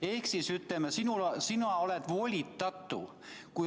Ehk ütleme nii, et sina oled volitatu.